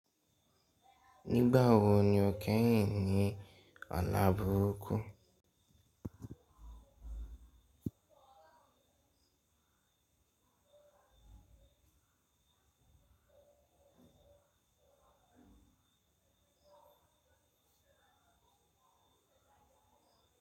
Nígbà wo ni o kẹ́yìn ní àlá burúkú?